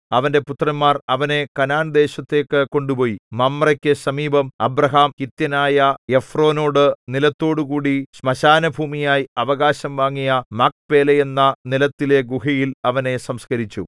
അവന്റെ പുത്രന്മാർ അവനെ കനാൻദേശത്തേക്കു കൊണ്ടുപോയി മമ്രേക്കു സമീപം അബ്രാഹാം ഹിത്യനായ എഫ്രോനോടു നിലത്തോടുകൂടി ശ്മശാനഭൂമിയായി അവകാശം വാങ്ങിയ മക്പേലയെന്ന നിലത്തിലെ ഗുഹയിൽ അവനെ സംസ്കരിച്ചു